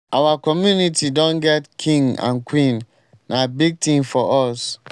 our community don get king and queen. na big thing for us.